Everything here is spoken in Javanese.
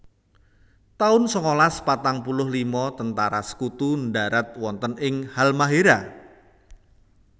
taun sangalas patang puluh lima Tentara Sekutu ndharat wonten ing Halmahéra